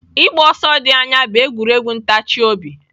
Ịgba ọsọ dị anya bụ egwuregwu ntachi obi.